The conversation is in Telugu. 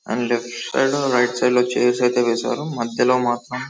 లెఫ్ట్ సైడ్ రైట్ సైడ్ లో చైర్స్ అయితే వేశారు మధ్యలో మాత్రం --